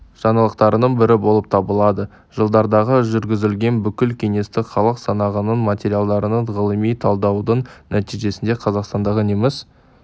жаңалықтарының бірі болып табылады жылдардағы жүргізілген бүкіл кеңестік халық санағының материалдарын ғылыми талдаудың нәтижесінде қазақстандағы неміс